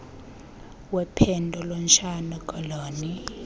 wephondo lentshona koloni